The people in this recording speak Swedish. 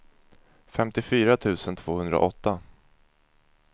femtiofyra tusen tvåhundraåtta